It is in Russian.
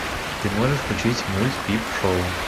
ты можешь включить мульт пип шоу